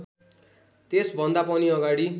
त्यसभन्दा पनि अगाडि